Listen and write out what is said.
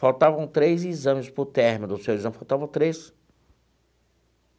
Faltavam três exames para o término do seu exame faltavam três.